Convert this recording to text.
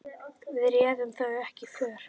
Við réðum þó ekki för.